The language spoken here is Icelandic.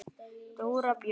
Dóra Björg.